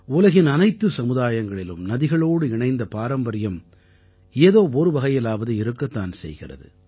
உலகின் அனைத்து சமுதாயங்களிலும் நதிகளோடு இணைந்த பாரம்பரியம் ஏதோ ஒரு வகையிலாவது இருக்கத்தான் செய்கிறது